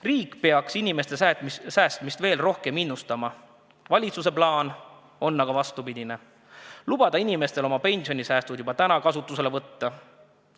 Riik peaks inimeste säästmist senisest rohkem innustama, valitsuse plaan on aga vastupidine – lubada inimestel oma pensionisäästud juba täna kasutusele võtta.